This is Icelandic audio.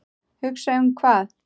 Hugsa um hvað?